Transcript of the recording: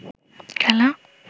খেলা